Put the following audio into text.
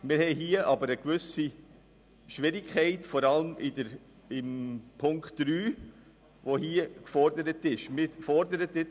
Wir sehen aber vor allem in der Forderung von Punkt 3 eine gewisse Schwierigkeit.